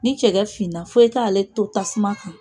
Ni cɛgɛ finna fo i k'ale to tasuma kan